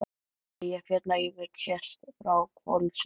Eyjafjallajökull sést frá Hvolsvelli.